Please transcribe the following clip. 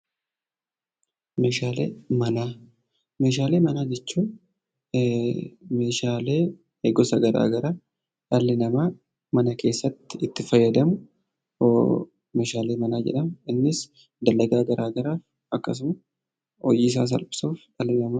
Meeshaalee manaa jechuun meeshaalee gosa garaagaraa dhalli namaa mana keessatti itti fayyadamu meeshaalee manaa jedhama. Innis dalagaa garaagaraaf yookiin hojiisaa salphisuuf kan nu gargaarudha.